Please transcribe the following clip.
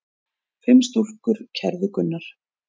Fimm stúlkur kærðu Gunnar.